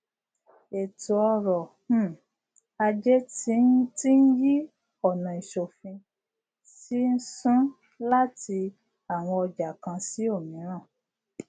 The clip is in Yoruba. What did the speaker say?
eto oro um aje ti n yi onaisofin ti n sun lati awon oja kan si omiran